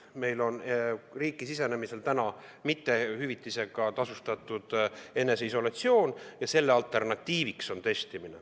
Meil on riiki sisenemisel ette nähtud hüvitisega tasustamata eneseisolatsioon ja selle alternatiiviks on testimine.